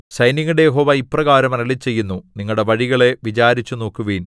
സൈന്യങ്ങളുടെ യഹോവ ഇപ്രകാരം അരുളിച്ചെയ്യുന്നു നിങ്ങളുടെ വഴികളെ വിചാരിച്ചുനോക്കുവിൻ